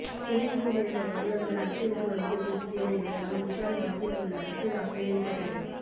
திரையுகை சேர்ந்த பிரபலங்கள் அரசியலுக்கு வருவது புதிதில்லை என்றாலும் விஷால் மனதில் உள்ள அரசியல் ஆசை வெளிப்பட்டது